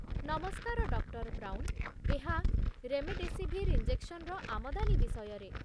ନମସ୍କାର, doctor Brown. ଏହା remdesivir ଇଞ୍ଜେକ୍ସନର ଆମଦାନୀ ବିଷୟରେ।